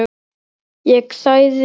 Ég þagði.